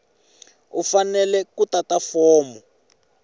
u fanele ku tata fomo